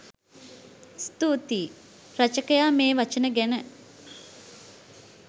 ස්තුතියි! රචකයා මේ වචන ගැන